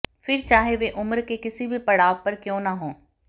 फिर चाहे वे उम्र के किसी भी पड़ाव पर क्यों न हों